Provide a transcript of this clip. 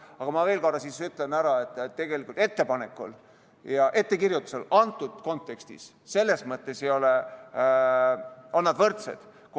Aga ma veel kord ütlen, et tegelikult ettepanek ja ettekirjutus antud kontekstis on selles mõttes võrdsed.